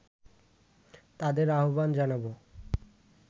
তাদের আহবান জানাবো